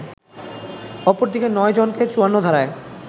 অপরদিকে ৯ জনকে ৫৪ ধারায়